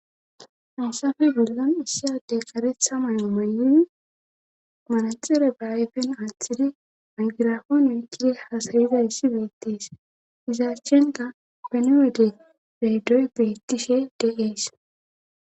Hansafe golgan issiyadey karetha mayo may7in manaxire baayfen aathidi angirafon oykkidi hasayiza yssi beettees iza achchenka kenewede bedoy bettishe deees